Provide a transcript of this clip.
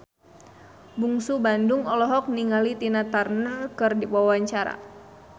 Bungsu Bandung olohok ningali Tina Turner keur diwawancara